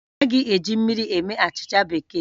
A naghị eji mmiri eme achịcha keeki